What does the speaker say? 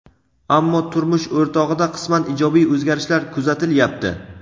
Ammo turmush o‘rtog‘ida qisman ijobiy o‘zgarishlar kuzatilyapti.